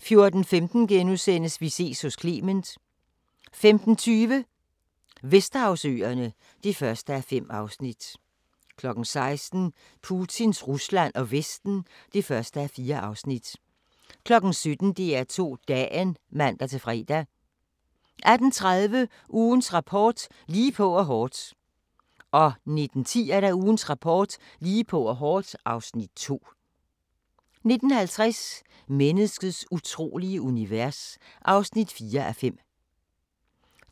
14:15: Vi ses hos Clement * 15:20: Vesterhavsøerne (1:5) 16:00: Putins Rusland og Vesten (1:4) 17:00: DR2 Dagen (man-fre) 18:30: Ugens Rapport: Lige på og hårdt 19:10: Ugens Rapport: Lige på og hårdt (Afs. 2) 19:50: Menneskets utrolige univers (4:5)